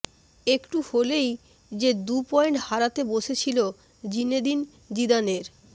একটু হলেই যে দুটি পয়েন্ট হারাতে বসেছিল জিনেদিন জিদানের